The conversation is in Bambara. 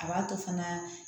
A b'a to fana